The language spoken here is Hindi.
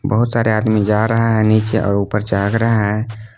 बहुत सारे आदमी जा रहा है नीचे और ऊपर चघ रहा है।